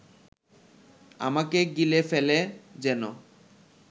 আমাকে গিলে ফেলে যেন